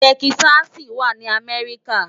Tèkìsàsí wá ni Amèriká